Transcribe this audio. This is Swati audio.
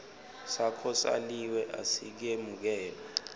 sakho saliwe asikemukelwa